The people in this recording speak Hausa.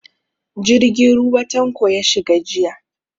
Jirgin ruwa Tanko ya shiga jiya.